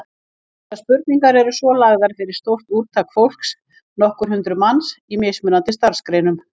Þessar spurningar voru svo lagðar fyrir stórt úrtak fólks, nokkur hundruð manns, í mismunandi starfsgreinum.